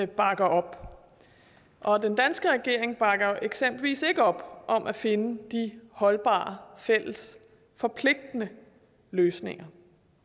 bakker op og den danske regering bakker eksempelvis ikke op om at finde holdbare og fælles forpligtende løsninger